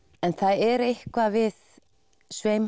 en það er eitthvað við